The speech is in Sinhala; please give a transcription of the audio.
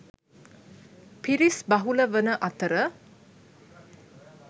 පිරිස් බහුල වන අතර